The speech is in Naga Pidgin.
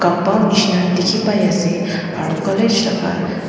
neshina dekhe pai ase aro college laga--